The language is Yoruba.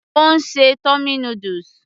Ó ń ṣe tummy noodles